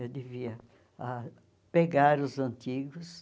Eu devia ah pegar os antigos.